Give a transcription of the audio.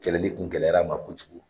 Kɛlɛ de kun gɛlɛyara ma kojugu